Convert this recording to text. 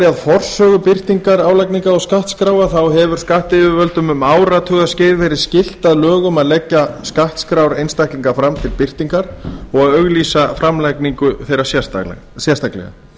að forsögu birtingar álagningar og skattskráa hefur skattyfirvöldum um áratugaskeið verið skylt að lögum að leggja skattskrár einstaklinga fram til birtingar og að auglýsa framlagningu þeirra sérstaklega